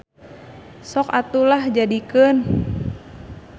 Sok atuh lah jadikeun.